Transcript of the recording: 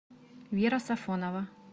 вера сафонова